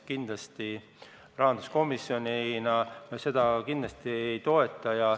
Kindlasti rahanduskomisjon seda ei toeta.